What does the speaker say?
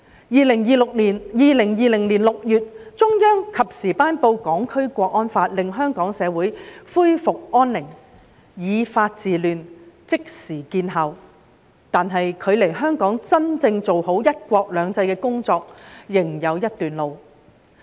2020年6月，中央及時頒布《香港國安法》，令香港社會恢復安寧，以法治亂，即時見效，但距離香港真正做好"一國兩制"的工作仍有一段路。